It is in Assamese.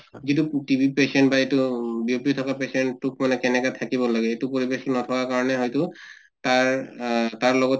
যিটো TB patient বা এইটো উম বিয়পি থকা patient তোক মানে কেনেকা থাকিব লাগে এইটো প্ৰবেশ নাপাৱা কাৰণে হয়্তু তাৰ আহ তাৰ লগতে